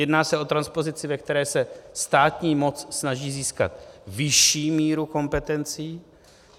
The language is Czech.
Jedná se o transpozici, ve které se státní moc snaží získat vyšší míru kompetencí.